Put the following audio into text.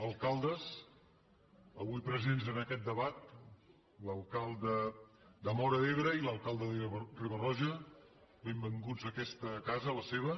alcaldes avui presents en aquest debat l’alcalde de móra d’ebre i l’alcalde de riba roja benvinguts a aquesta casa la seva